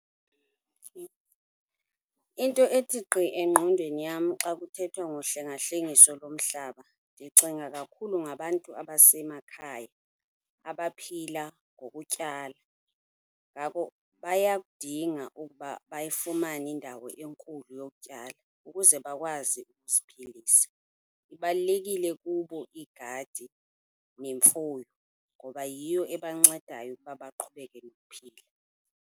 Into ethi gqi engqondweni yam xa kuthethwa ngohlengahlengiso lomhlaba ndicinga kakhulu ngabantu abasemakhaya abaphila ngokutyala. Ngako bayakudinga ukuba bayifumane indawo enkulu yokutyala ukuze bakwazi ukuziphilisa. Ibalulekile kubo igadi nemfuyo ngoba yiyo ebancedayo ukuba baqhubeke nokuphila.